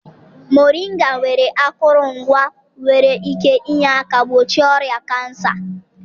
Mọrịnga nwere akụrụngwa nwere ike inye aka gbochie ọrịa kansa.